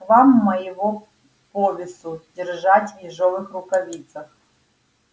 к вам моего повесу держать в ежовых рукавицах